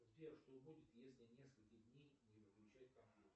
сбер что будет если несколько дней не выключать компьютер